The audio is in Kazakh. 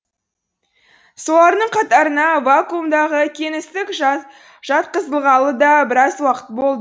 солардың қатарына вакуумдағы кеңістік жат жатқызылғалы да біраз уақыт болды